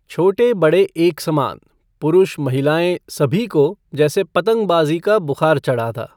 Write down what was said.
छोटे बड़े एक सामान, पुरुष महिलाएँ, सभी को जैसे पतंगबाज़ी का बुखार चढ़ा था।